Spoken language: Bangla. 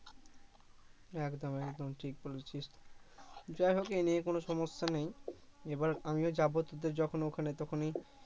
একদম একদম ঠিক বলেছিস যাইহোক এই নিয়ে কোন সমস্যা নেই এবার আমিও যাবো তোদের যখন ওখানে তখনই